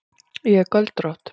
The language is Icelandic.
Ég er göldrótt.